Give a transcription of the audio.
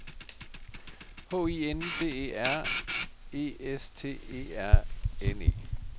H I N D E R E S T E R N E